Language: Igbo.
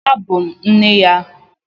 Abụ m nne ya.